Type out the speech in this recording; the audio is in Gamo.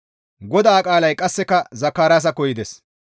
GODAA qaalay qasseka Zakaraasakko yides;